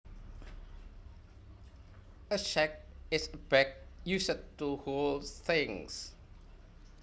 A sack is a bag used to hold things